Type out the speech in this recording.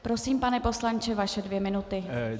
Prosím, pane poslanče, vaše dvě minuty.